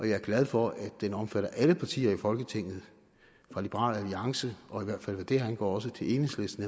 jeg er glad for at den omfatter alle partier i folketinget fra liberal alliance og i hvert fald hvad det angår også til enhedslisten